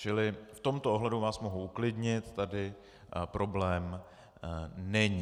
Čili v tomto ohledu vás mohu uklidnit, tady problém není.